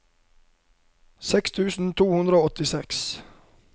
seks tusen to hundre og åttiseks